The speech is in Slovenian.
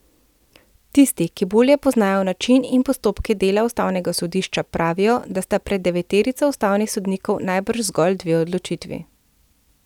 Tisti, ki bolje poznajo način in postopke dela ustavnega sodišča, pravijo, da sta pred deveterico ustavnih sodnikov najbrž zgolj dve odločitvi.